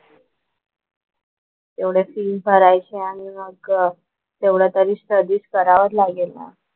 एवढं फीज भरायचे आणि मग तेवढं तरी स्टडीज करावंच लागेल ना.